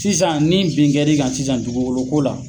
Sisan , ni bin kɛr'i kan sisan dugukolo la